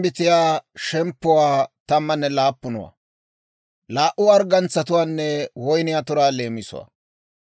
Med'inaa Godaa k'aalay taakko hawaadan yaagiidde yeedda;